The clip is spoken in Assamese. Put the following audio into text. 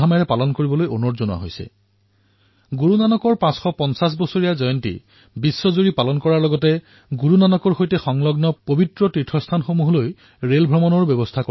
ইয়াৰ সৈতে গুৰু নানক দেৱজীৰ সৈতে জড়িত পবিত্ৰস্থলৰ পথত এক ৰেলো চলোৱা হব